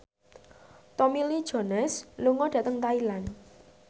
Tommy Lee Jones lunga dhateng Thailand